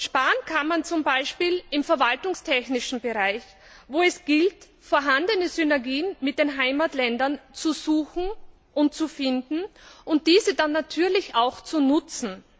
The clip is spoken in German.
Sparen kann man zum Beispiel im verwaltungstechnischen Bereich, wo es gilt, vorhandene Synergien mit den Heimatländern zu suchen und zu finden und diese dann natürlich auch zu nutzen.